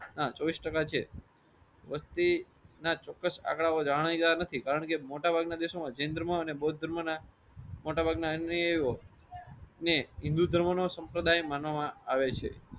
આ ચોવીસ ટાકા છે. વસ્તીના ચોક્કસ આંકડાઓ જાણી જોયા નથી કારણ કે મોટા ભાગ ના દેશોમાં જૈન ધર્મ અને બૌદ્ધ ધર્મ ના મોટા ભાગ ના ને હિન્દૂ ધર્મ નો સંપ્રદાય માનવામા આવે છે.